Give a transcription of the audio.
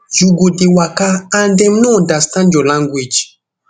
you go dey waka and dem no understand your language